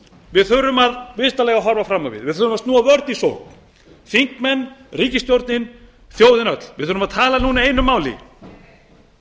við þurfum í fyrsta lagi að horfa fram á við við þurfum að snúa vörn í sókn þingmenn ríkisstjórnin þjóðin öll við þurfum að tala núna einu máli ríkisstjórnin